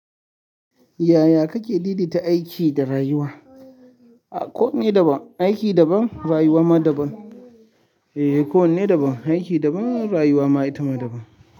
Yaya kake lillita aiki da rayuwa? A ko me daban, aiki daban rayuwa ma daban. Eh, ko wanne daban, aiki daban rayuwa ma ita daban.